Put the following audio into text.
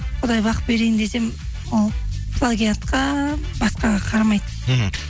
құдай бақ берейін десе ол плагиатқа басқаға қарамайды мхм